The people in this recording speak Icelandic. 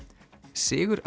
sigur